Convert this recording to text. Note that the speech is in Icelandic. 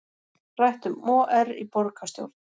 Rætt um OR í borgarstjórn